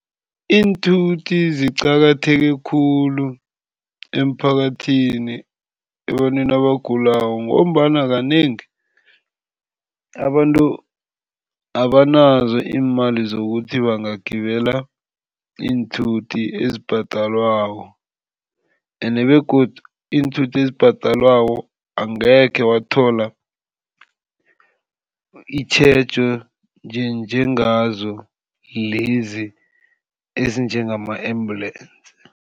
Iinthuthi ziqakatheke khulu emphakathini ebantwini abagulako ngombana kanengi abantu abanazo iimali zokuthi bangagibela iinthuthi ezibhadelwako. Ende begodu iinthuthi ezibhadelwako angekhe wathola itjhejo njengazo lezi ezinjengama-ambulensi.